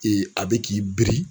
a bɛ k'i biri